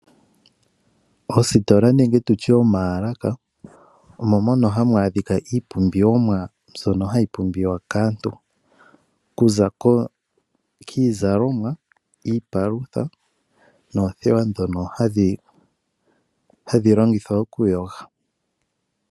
Ositola nenge tu tye omaalaka omo moka hamu adhika iipumbiwa mbyono hayi pumbiwa kaantu. Okuza kiizalomwa, kiipalutha noothewa ndhono hadhi longithwa okuyoga.